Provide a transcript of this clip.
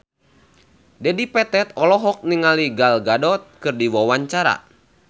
Dedi Petet olohok ningali Gal Gadot keur diwawancara